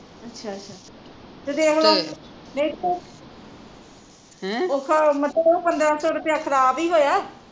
ਅੱਛਾ ਅੱਛਾ ਤੇ ਫਿਰ ਹੁਣ ਵੇਖੋ ਮੈਂ ਕਿਹਾ ਓਹ ਪੰਦਰਾਂ ਸੋ ਖਰਾਬ ਈ ਹੋਇਆ